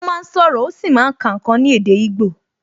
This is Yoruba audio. Ó máa ń sọ̀rọ̀, ó sì máa ń kà ǹkan ní èdè igbo